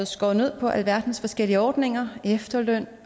skåret ned på alverdens forskellige ordninger efterløn